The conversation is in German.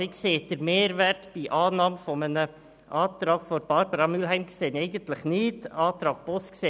Eigentlich sehe ich den Mehrwert bei Annahme eines Antrags von Barbara Mühlheim nicht, ebenso wenig betreffend den Antrag Boss.